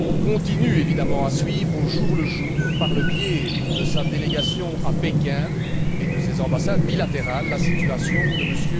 continue à suivre au jour le jour, par le biais de sa délégation à Pékin et de ses ambassades bilatérales, la situation de M.